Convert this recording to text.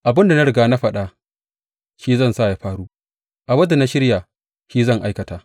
Abin da na riga na faɗa, shi zan sa ya faru; abin da na shirya, shi zan aikata.